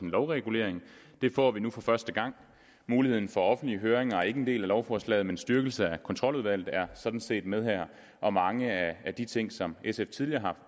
lovregulering det får vi nu for første gang muligheden for offentlige høringer er ikke en del af lovforslaget men en styrkelse af kontroludvalget er sådan set med her og mange af de ting som sf tidligere har